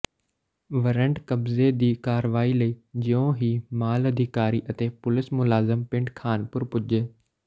warrant ਕਬਜ਼ੇ ਦੀ ਕਾਰਵਾਈ ਲਈ ਜਿਉਂ ਹੀ ਮਾਲ ਅਧਿਕਾਰੀ ਅਤੇ ਪੁਲਿਸ ਮੁਲਾਜ਼ਮ ਪਿੰਡ ਖ਼ਾਨਪੁਰ ਪੁੱਜੇ